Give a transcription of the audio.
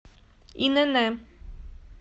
инн